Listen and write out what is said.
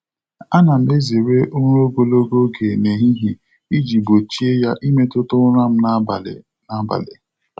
A na m ezere ụra ogologo oge n'ehihie iji gbochie ya ịmetụta ụra m n'abalị. n'abalị.